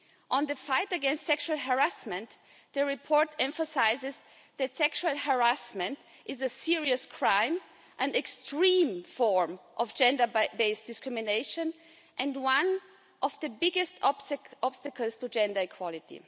On the fight against sexual harassment, the report emphasises that sexual harassment is a serious crime, an extreme form of gender based discrimination and one of the biggest obstacles to gender equality.